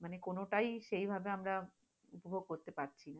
মানে কোন তাই এভাবে আমরা উপভগ করতে পারছি না,